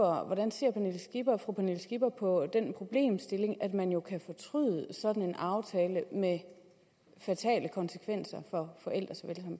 hvordan ser fru pernille skipper på den problemstilling at man jo kan fortryde sådan en aftale med fatale konsekvenser